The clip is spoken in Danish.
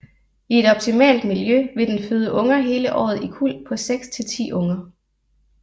I et optimalt miljø vil den føde unger hele året i kuld på 6 til 10 unger